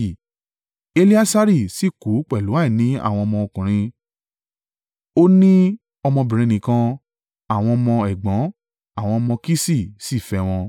Eleasari sì kú pẹ̀lú àìní àwọn ọmọkùnrin: Ó ní ọmọbìnrin nìkan. Àwọn ọmọ ẹ̀gbọ́n, àwọn ọmọ Kiṣi, sì fẹ́ wọn.